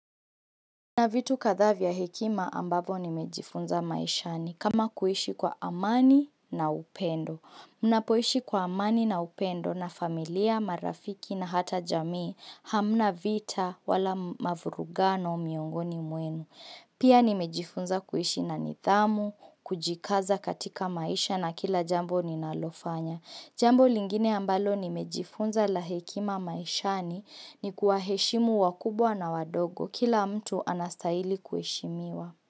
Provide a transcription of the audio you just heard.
Mna vitu kadhaa vya hekima ambavyo nimejifunza maishani kama kuishi kwa amani na upendo. Mnapoishi kwa amani na upendo na familia, marafiki na hata jamii hamna vita wala mavurugano miongoni mwenu. Pia nimejifunza kuishi na nidhamu, kujikaza katika maisha na kila jambo ninalofanya. Jambo lingine ambalo nimejifunza la hekima maishani ni kuwaheshimu wakubwa na wadogo. Kila mtu anastahili kuheshimiwa.